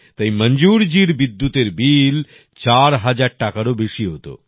তাই মঞ্জুর জির বিদ্যুতের বিল ৪০০০ টাকারও বেশি হত